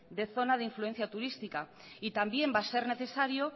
de zona de influencia turística y también va a ser necesario